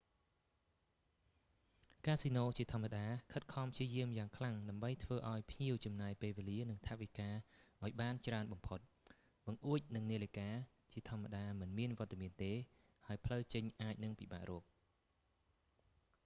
កាស៊ីណូជាធម្មតា ខិតខំព្យាយាមយ៉ាងខ្លាំងដើម្បីធ្វើឱ្យភ្ញៀវចំណាយពេលវេលា និង ថវិកាឱ្យបានច្រើនបំផុត បង្អួច និង នាឡិកាជាធម្មតាមិនមានវត្តមានទេ ហើយផ្លូវចេញអាចនឹងពិបាករក